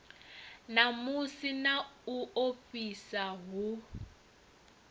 namusi na u ofhisa hu